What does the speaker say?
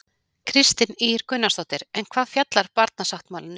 Kristín Ýr Gunnarsdóttir: En hvað fjallar barnasáttmálinn um?